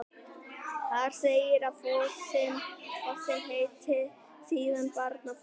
Þar segir að fossinn heiti síðan Barnafoss.